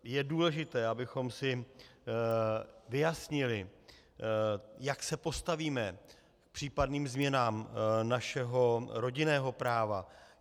Je důležité, abychom si vyjasnili, jak se postavíme k případným změnám našeho rodinného práva.